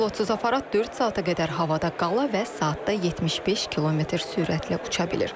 Bu pilotsuz aparat dörd saata qədər havada qala və saatda 75 km sürətlə uça bilir.